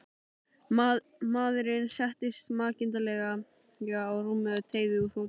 Maðurinn settist makindalega á rúmið og teygði úr fótunum.